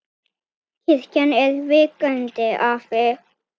Kirkjan er vakandi afl.